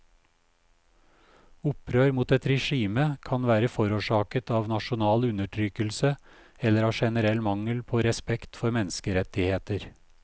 Opprør mot et regime kan være forårsaket av nasjonal undertrykkelse eller av generell mangel på respekt for menneskerettigheter.